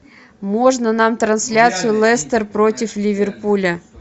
можно нам трансляцию лестер против ливерпуля